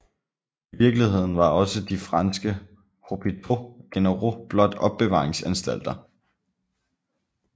I virkeligheden var også de franske hôpitaux generaux blot opbevaringsanstalter